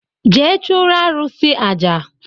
Jee chụụrụ arụsị aja!